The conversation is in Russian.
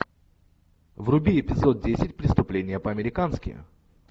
вруби эпизод десять преступление по американски